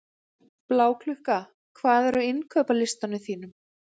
Bláklukka, hvað er á innkaupalistanum mínum?